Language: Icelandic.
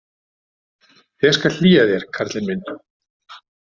Ég skal hlýja þér, karlinn minn.